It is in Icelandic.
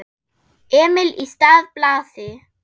Emil í stað Blasi?